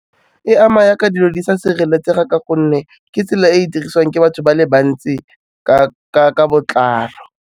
E ama yaka dilo di sa sireletsega ka gonne ke tsela e e dirisiwang ke batho ba le bantsi ka botlalo.